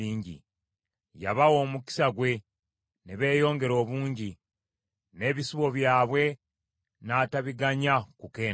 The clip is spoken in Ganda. Yabawa omukisa gwe, ne beeyongera obungi; n’ebisibo byabwe n’atabiganya kukendeera.